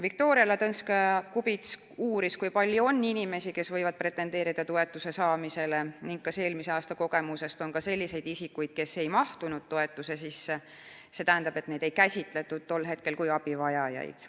Viktoria Ladõnskaja-Kubits uuris, kui palju on inimesi, kes võivad pretendeerida toetuse saamisele, ning kas eelmise aasta kogemuse põhjal saab öelda, et on ka selliseid isikuid, kes ei mahtunud toetuse sisse, st neid ei käsitletud tol hetkel kui abivajajaid.